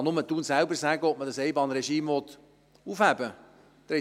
Nur Thun selber kann sagen, ob man das Einbahnregime aufheben will.